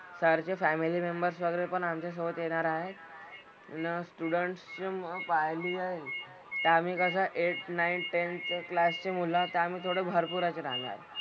Sir चे family members वगैरे पण आमच्यासोबत येणार आहेत. अन students जे मी पाहिली आहेत ते आम्ही कसं eight, nine, ten चं class ची मुलं तर आम्ही थोडं भरपूर असे जाणार.